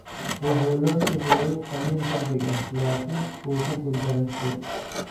Wuxuu loo sameeyey qalliin degdeg ah laakiin wuu ku guuldareystay.